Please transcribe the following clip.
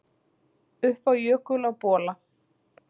Upp á jökul á Bola